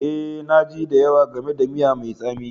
Eh, na ji da yawa game da miya mai tsami